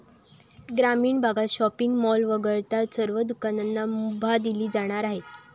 ग्रामीण भागत shopping mall वगळता सर्व दुकानांना मुभा दिली जाणार आहे.